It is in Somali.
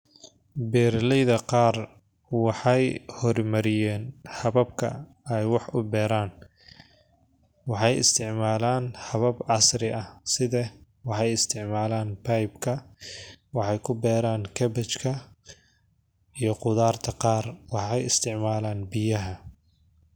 Beraleyda qaar wexey hormariyen qabka ey wax uberan wexey isticmalan habab casri ah sida wexey isticmalan bebka waxay kuberan kabajka iyo qudarta qar wexey isticmalan biyaha.